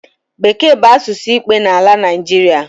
Bekee bụ asụsụ ikpe n’ala Naịjịrịa